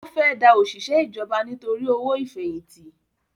Ó fẹ́ da òṣìṣẹ́ ìjọba nítorí owó ìfẹ̀yìntì